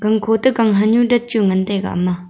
gan kho toh ganhan nu dan chu ngan taiga.